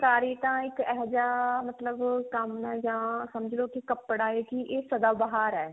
ਫੁਲਕਾਰੀ ਤਾਂ ਏਹੋਜਿਹਾ ਮਤਲਬ ਕੰਮ ਹੈ ਜਾਂ ਸਮ੍ਝ੍ਲੋ ਕੀ ਕੱਪੜਾ ਹੈ ਵੀ ਇਹ ਸਦਾ ਬਹਾਰ ਹੈ